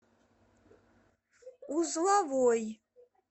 узловой